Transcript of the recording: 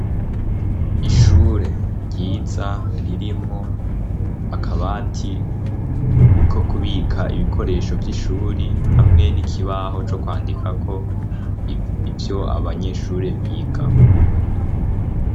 Ishure ryiza ririmwo akabati ko kubika ibikoresho vy'ishuri hamwe n'ikibaho co kwandikako ivyo abanyeshure biga.